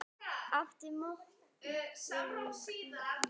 Áttu mottó í lífinu?